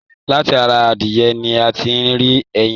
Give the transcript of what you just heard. Láti ará adìyẹ̀ ní a tí n rí ẹyìn.